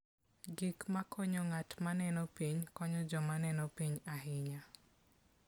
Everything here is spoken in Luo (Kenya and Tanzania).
Gik makonyo ng'at ma neno piny konyo joma neno piny ahinya.